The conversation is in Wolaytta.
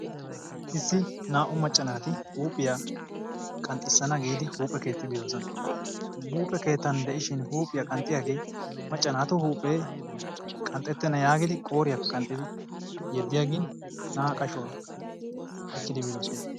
issi naa'u maccanaati huuphiya qanxxisana giidi huuphe keetti biidosona. ha huuphiya qanxxiyage macca naatu huuphee qanxxetenna yaagin qooriya qanxxi agin na'aa qashuwawu efiidona.